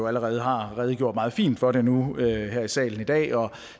allerede har redegjort meget fint for det nu her i salen i dag og